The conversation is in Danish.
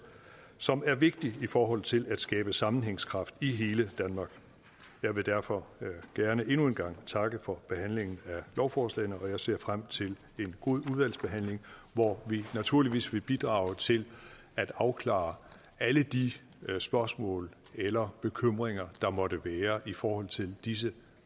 som er vigtig i forhold til at skabe sammenhængskraft i hele danmark jeg vil derfor gerne endnu en gang takke for behandlingen af lovforslaget og jeg ser frem til en god udvalgsbehandling hvor vi naturligvis vil bidrage til at afklare alle de spørgsmål eller bekymringer der måtte være i forhold til disse